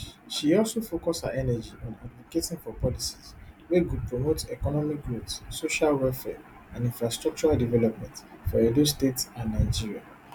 she also focus her energy on advocating for policies wey go promote economic growth social welfare and infrastructural development for edo state and nigeria